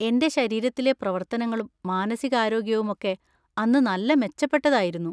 എൻ്റെ ശരീരത്തിലെ പ്രവർത്തനങ്ങളും മാനസികാരോഗ്യവും ഒക്കെ അന്ന് നല്ല മെച്ചപ്പെട്ടതായിരുന്നു.